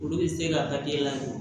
Olu bɛ se ka hakɛ lajɔ